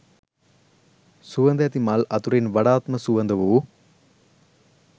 සුවඳැති මල් අතරින් වඩාත්ම සුවඳ වූ